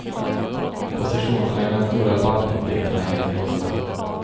Positionerna i den stora bankkonflikten är helt låsta.